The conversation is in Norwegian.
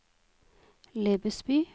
Lebesby